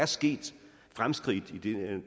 sket fremskridt i